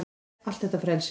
Allt þetta ferli.